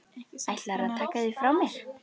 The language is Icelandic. Ætlarðu að taka þig frá mér?